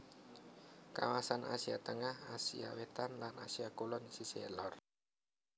Kawasan Asia Tengah Asia Wétan lan Asia Kulon sisih lor